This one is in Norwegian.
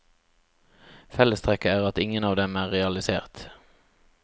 Fellestrekket er at ingen av dem er realisert.